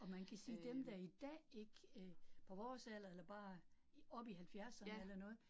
Og man kan sige dem, der i dag ikke øh på vores alder eller bare op i halvfjerserne eller noget